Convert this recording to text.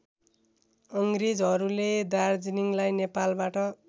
अङ्ग्रेजहरूले दार्जीलिङलाई नेपालबाट